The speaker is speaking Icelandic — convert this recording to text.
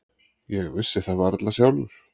Ég vissi það varla sjálfur.